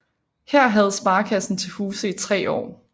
Her havde sparekassen til huse i tre år